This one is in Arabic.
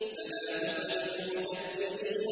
فَلَا تُطِعِ الْمُكَذِّبِينَ